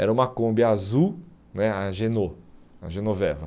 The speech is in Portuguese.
Era uma Kombi azul né, a Geno, a Genoveva.